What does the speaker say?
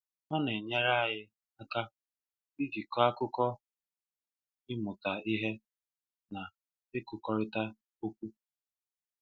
O na-enyere anyi aka iji kọọ akuko, ịmụta ihe, na ikwukọrịta okwu.